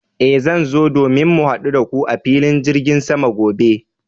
Eh, zan zo domin mu hadu da ku a filin jirgin sama gobe.